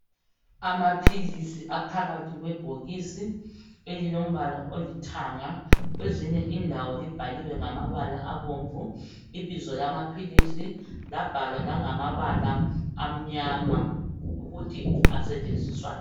Amaphilisi aphakathi kwebhokisi elilombala olithanga. Kwezinye indawo libhaliwe ngamabala abomvu ibizo lamaphilisi, labhalwa langamabala amnyama ukuthi asetshenziswani.